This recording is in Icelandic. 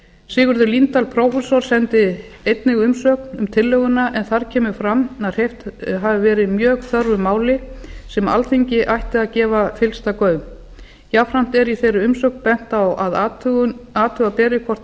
sigurður líndal prófessor sendi einnig umsögn um tillöguna en þar kemur fram að hreyft hafi verið mjög þörfu máli sem alþingi ætti að gefa fyllsta gaum jafnframt er í þeirri umsögn bent á að athuga beri hvort til